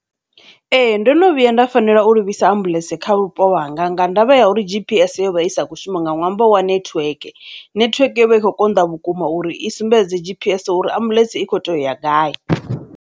Ee, ndo no vhuya nda fanela u livhisa ambuḽentse kha vhupo hanga nga ṅwambo wa uri G_P_S yo vha i sa kho shuma nga ṅwambo wa network, network yo vha i tshi kho konḓa vhukuma uri i sumbedze G_P_S uri ambuḽentse i kho tea u ya gai.